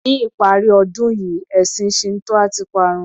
Ní ìparí ọdún yìí ẹ̀sìn Shinto a ti parun.